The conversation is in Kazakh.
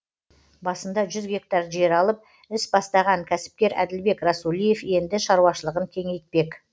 басында жүз гектар жер алып іс бастаған кәсіпкер әділбек расулиев енді шаруашылығын кеңейтпек